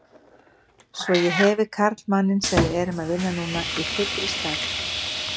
Svo ég hefi karlmanninn sem við erum að vinna núna í fullri stærð.